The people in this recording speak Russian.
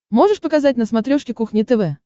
можешь показать на смотрешке кухня тв